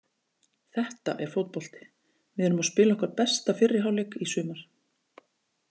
Þetta er fótbolti við erum að spila okkar besta fyrri hálfleik í sumar.